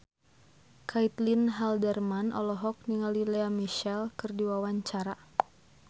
Caitlin Halderman olohok ningali Lea Michele keur diwawancara